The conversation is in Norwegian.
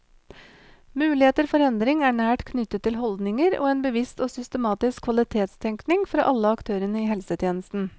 Muligheter for endring er nært knyttet til holdninger og en bevisst og systematisk kvalitetstenkning fra alle aktørene i helsetjenesten.